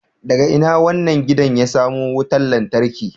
Daga ina wannan gidan ya samo wutar lantarki